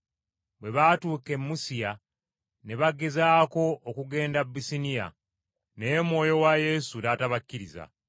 Bwe baatuuka e Musiya ne bagezaako okugenda Bisuniya, naye Mwoyo wa Yesu n’atabakkiriza.